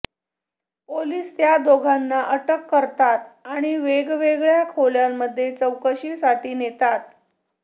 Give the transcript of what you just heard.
police त्या दोघांना अटक करतात आणि वेगवेगळ्या खोल्यांमध्ये चौकशीसाठी नेतात